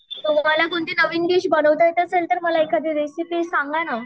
तुम्हाला कोणती नवीन डिश बनवता येत असेल तर मला एखादी रेसिपी सांगा ना.